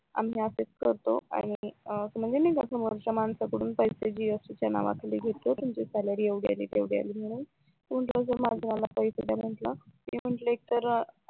आम्ही असाच करतो म्हणजे नाही का माणसांकडून पैसे जीएसटी च्या नावाखाली घेतो तुमची सॅलरी एवढी अली तेवढी अली म्हणून मी म्हंटल माझे मला पैसे द्या म्हणून मी म्हंटल एक तर